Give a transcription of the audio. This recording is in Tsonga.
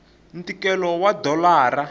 ntikelo wa dolara